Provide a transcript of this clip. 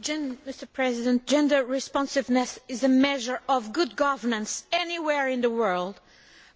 Mr President, gender responsiveness is a measure of good governance anywhere in the world,